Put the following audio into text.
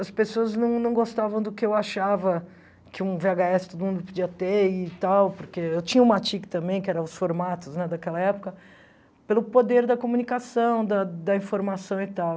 as pessoas não não gostavam do que eu achava que um vê agá esse todo mundo podia ter e tal, porque eu tinha uma TIC também, que era os formatos né daquela época, pelo poder da comunicação, da da informação e tal.